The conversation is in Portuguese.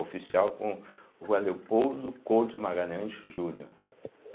Oficial com Rua Leopoldo Couto Magalhães Júnior.